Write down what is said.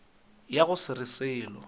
ya go se re selo